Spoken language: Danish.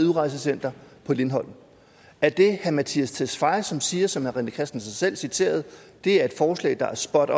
udrejsecenter på lindholm er det herre mattias tesfaye som siger som herre rené christensen selv citerede at det er et forslag der er spot